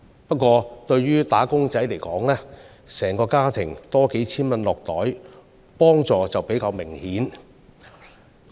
不過，對於"打工仔"而言，整個家庭能獲回贈數千元，幫助便較為明顯。